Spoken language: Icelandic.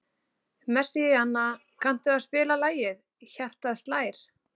Messíana, kanntu að spila lagið „Hjartað slær“?